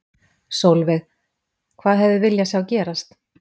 Sólveig: Hvað hefði viljað sjá gerast?